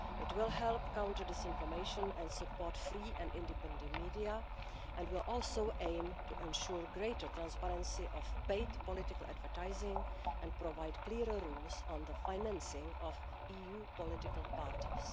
It will help counter disinformation and support free and independent media and will also aim to ensure greater transparency of paid political advertising and provide clearer rules on the financing of EU political parties.